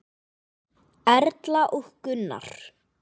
Erla og Gunnar.